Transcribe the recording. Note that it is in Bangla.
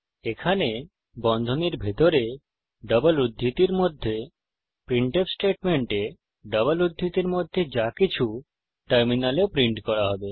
এখানে বন্ধনীর ভিতরে ডবল উদ্ধৃতির মধ্যে প্রিন্টফ স্টেটমেন্টে ডবল উদ্ধৃতির মধ্যে যাকিছু টার্মিনালে প্রিন্ট করা হবে